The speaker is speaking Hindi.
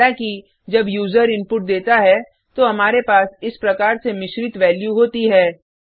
हालाँकि जब यूजर इनपुट देता है तो हमारे पास इस प्रकार से मिश्रित वेल्यू होती है